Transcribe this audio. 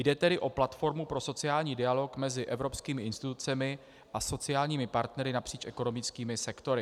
Jde tedy o platformu pro sociální dialog mezi evropskými institucemi a sociálními partnery napříč ekonomickými sektory.